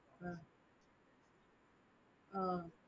அஹ்